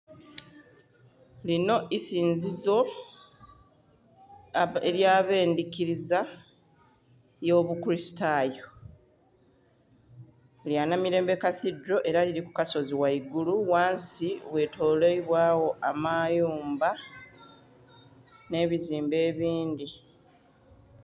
Erinho isinzizo eya bendhikiriza eyo bukulistayo lya Namirembe Cathedral era eri kukasozi ghaigulu ghansi ghatolerwa gho amayumba nhebizumbe ebindhi.